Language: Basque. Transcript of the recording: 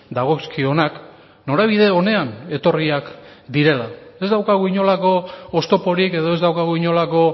dagozkionak norabide onean etorriak direla ez daukagu inolako oztoporik edo ez daukagu inolako